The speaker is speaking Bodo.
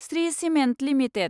Shri cement limited